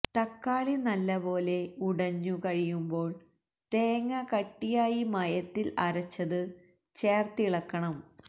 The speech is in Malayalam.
തക്കാളി നല്ലപോലെ ഉടഞ്ഞു കഴിയുമ്പോള് തേങ്ങ കട്ടിയായി മയത്തില് അരച്ചതു ചേര്ത്തിളക്കണം